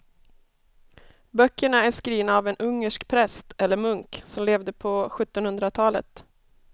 Böckerna är skrivna av en ungersk präst eller munk som levde på sjuttonhundratalet.